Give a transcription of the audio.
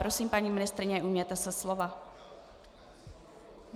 Prosím, paní ministryně, ujměte se slova.